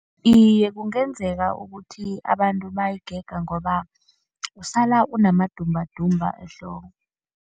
Iye, kungenzeka ukuthi abantu bayigega ngoba usala unamadumbadumba ehloko.